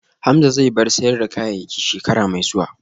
Hamza zai bar sayar da kayayyaki shekara mai zuwa